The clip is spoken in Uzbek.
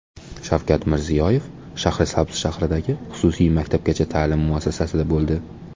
Shavkat Mirziyoyev Shahrisabz shahridagi xususiy maktabgacha ta’lim muassasasida bo‘ldi.